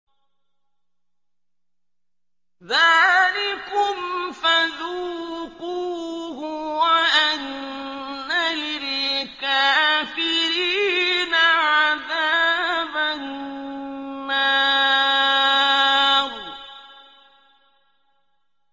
ذَٰلِكُمْ فَذُوقُوهُ وَأَنَّ لِلْكَافِرِينَ عَذَابَ النَّارِ